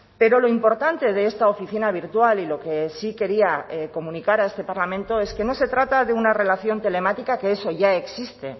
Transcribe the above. pero lo importante de esta oficina virtual y lo que sí quería comunicar a este parlamento es que no se trata de una relación telemática que eso ya existe